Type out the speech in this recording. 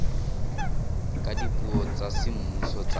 ka dipuo tsa semmuso tsa